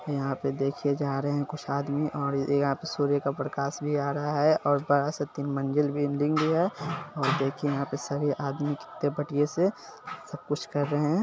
यहाँ पे देखिए जा रहे है कुछ आदमी और यहां पे सूर्य का प्रकाश भी आ रहा है और बड़ा सा तीन मंजिल बिल्डिंग भी है और देखिए यहां पे सभी आदमी कितने बढ़िया से सब कुछ कर रहे है।